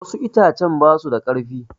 Wassu itacen basu da karfi